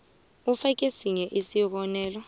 ufake sinye isibonelo